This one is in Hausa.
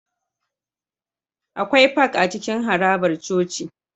Akwai Park a cikin harabar coci